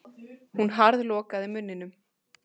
Hún harðlokaði munninum.